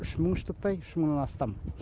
үш мың штуктай үш мыңнан астам